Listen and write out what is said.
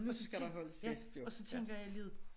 Og så tænk ja og så tænker jeg alligevel